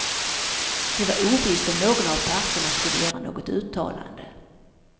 Det var ovisst om någon av parterna skulle göra något uttalande.